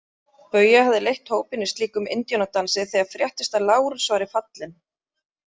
Bauja hafði leitt hópinn í slíkum indíánadansi þegar fréttist að Lárus væri fallinn.